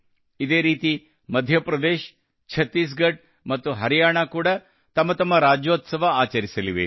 ಇದೇ ರೀತಿ ಮಧ್ಯಪ್ರದೇಶ ಛತ್ತೀಸ್ ಗಢ್ ಮತ್ತು ಹರಿಯಾಣಾ ಕೂಡಾ ತಮ್ಮ ತಮ್ಮ ರಾಜ್ಯೋತ್ಸವ ಆಚರಿಸಲಿವೆ